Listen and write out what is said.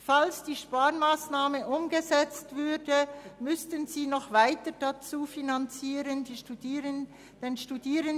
Sollte die Sparmassnahme umgesetzt würde, müssten die Studierenden noch mehr bezahlen.